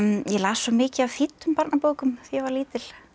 las svo mikið af þýddum barnabókum ég var lítil